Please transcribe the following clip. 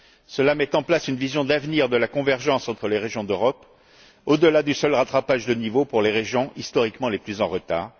Cela met en place une vision d'avenir de la convergence entre les régions d'Europe, au delà du seul rattrapage de niveau pour les régions historiquement les plus en retard.